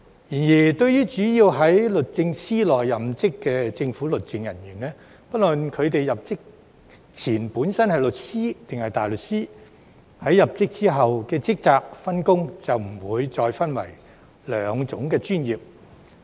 然而，對於主要在律政司內任職的政府律政人員，不論他們入職前本身是律師還是大律師，在入職後的職責、分工也不會再分為兩種專業。